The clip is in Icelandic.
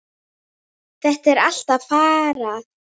Þetta er allt farið.